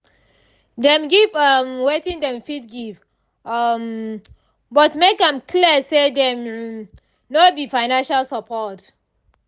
dem give um wetin dem fit give um but make am clear say dem um no be financial support